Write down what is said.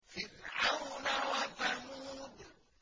فِرْعَوْنَ وَثَمُودَ